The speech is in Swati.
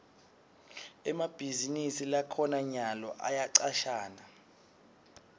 emabhizinisi lakhona nyalo ayacashana